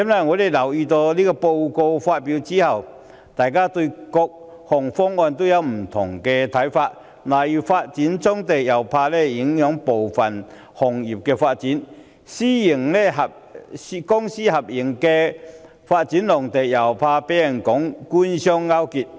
我留意到報告發表後，大家對各個方案意見紛紜，例如發展棕地恐怕影響部分行業發展，公私營合作發展農地又怕被指官商勾結。